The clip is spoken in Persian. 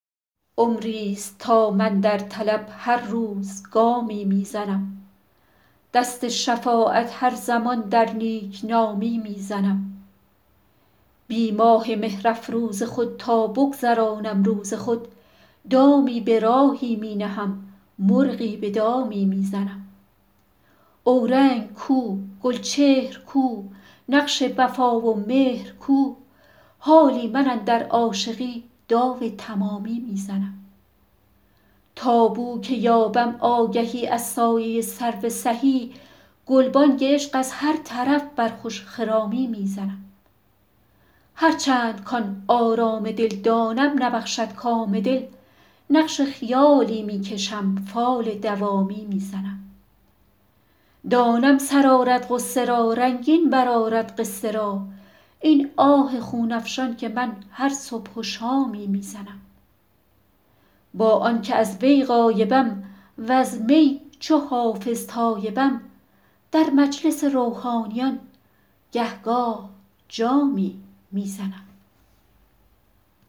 عمریست تا من در طلب هر روز گامی می زنم دست شفاعت هر زمان در نیک نامی می زنم بی ماه مهرافروز خود تا بگذرانم روز خود دامی به راهی می نهم مرغی به دامی می زنم اورنگ کو گلچهر کو نقش وفا و مهر کو حالی من اندر عاشقی داو تمامی می زنم تا بو که یابم آگهی از سایه سرو سهی گلبانگ عشق از هر طرف بر خوش خرامی می زنم هرچند کـ آن آرام دل دانم نبخشد کام دل نقش خیالی می کشم فال دوامی می زنم دانم سر آرد غصه را رنگین برآرد قصه را این آه خون افشان که من هر صبح و شامی می زنم با آن که از وی غایبم وز می چو حافظ تایبم در مجلس روحانیان گه گاه جامی می زنم